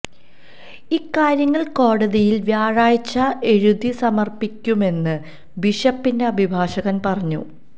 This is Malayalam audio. ഇക്കാര്യങ്ങൾ കോടതിയിൽ വ്യാഴാഴ്ച എഴുതി സമർപ്പിക്കുമെന്ന് ബിഷപ്പിന്റെ അഭിഭാഷകർ പറഞ്ഞു